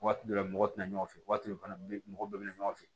Waati dɔ la mɔgɔ tɛna ɲɔgɔn fɛ waati dɔ fana bɛ mɔgɔ bɛɛ na ɲɔgɔn fɛ